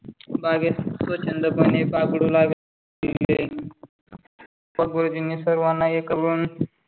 बागेत स्वच्छंदपणे बागडू लागले पण गुरुजींनी सर्वांना एक वन